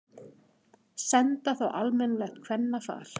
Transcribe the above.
Senda þá á almennilegt kvennafar.